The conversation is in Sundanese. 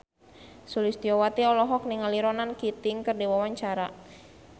Sulistyowati olohok ningali Ronan Keating keur diwawancara